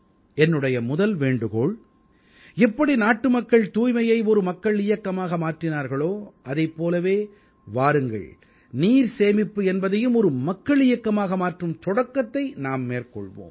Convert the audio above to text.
என்னுடைய முதல் வேண்டுகோள் எப்படி நாட்டுமக்கள் தூய்மையை ஒரு மக்கள் இயக்கமாக மாற்றினார்களோ அதைப் போலவே வாருங்கள் நீர் சேமிப்பு என்பதையும் ஒரு மக்கள் இயக்கமாக மாற்றும் தொடக்கத்தை நாம் மேற்கொள்வோம்